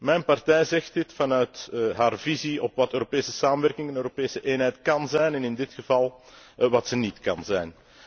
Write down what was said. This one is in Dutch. Mijn partij zegt dit vanuit haar visie op wat Europese samenwerking en Europese eenheid kan zijn en in dit geval wat zij niet kan zijn.